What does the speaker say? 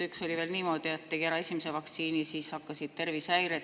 Ühe puhul oli veel niimoodi, et ta tegi ära esimese vaktsiini ja siis hakkasid tervisehäired.